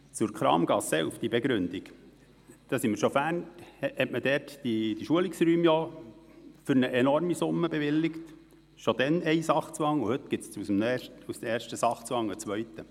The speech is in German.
Zur Kramgasse 11: Bereits letztes Jahr wurde für die Schulungsräume eine enorme Summe bewilligt, schon damals war von einem Sachzwang die Rede, und jetzt entsteht aus dem ersten Sachzwang ein zweiter.